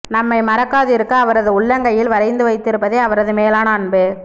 நம்மை மறக்காதிருக்க அவரது உள்ளங்கையில் வரைந்து வைத்திருப்பதே அவரது மேலான அன்பு